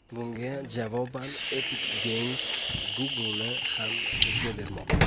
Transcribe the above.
Bunga javoban Epic Games Google’ni ham sudga bermoqda.